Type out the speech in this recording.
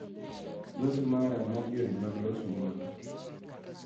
Loso mara mar yore mag loso mwandu